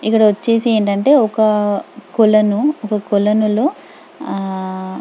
ఇక్కడ వచ్చేసి ఏంటంటే ఒక కొలను ఒక కొలను లో ఆ --.